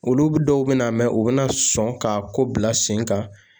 Olu dɔw bɛn'a mɛn u bɛna sɔn k'a ko bila sen kan